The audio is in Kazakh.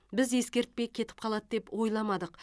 біз ескертпей кетіп қалады деп ойламадық